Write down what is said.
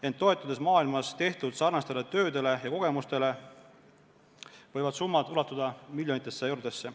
Ent toetudes maailmas tehtud sarnaste tööde kogemustele, võib öelda, et summad võivad ulatuda miljonitesse eurodesse.